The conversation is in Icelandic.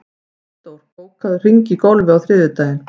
Valdór, bókaðu hring í golf á þriðjudaginn.